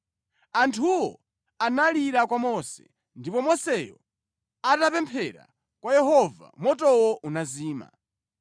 Anthuwo analira kwa Mose ndipo Moseyo atapemphera kwa Yehova, motowo unazima.